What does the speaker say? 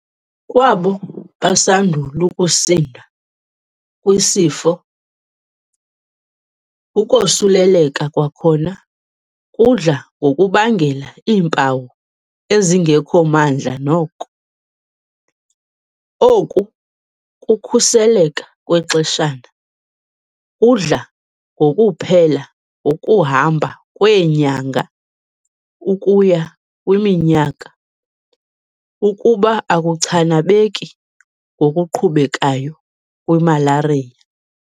Kwabo basandul' ukusinda kwisifo, ukosuleleka kwakhona kudla ngokubangela iimpawu ezingekho mandla noko. Oku kukhuseleka kwexeshana kudla ngokuplhela ngokuhamba kweenyanga ukuya kwiminyaka ukuba akuchanabeki ngokuqhubekayo kwimalariya.